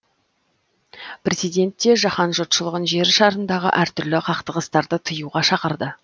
президент те жаһан жұртшылығын жер шарындағы әр түрлі қақтығыстарды тыюға шақырды